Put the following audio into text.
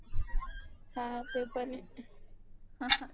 हा ते पण आहे